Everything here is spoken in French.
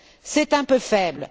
C'est un peu faible.